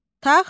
Taxta.